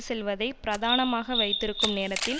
செல்வதை பிரதானமாக வைத்திருக்கும் நேரத்தில்